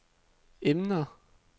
emner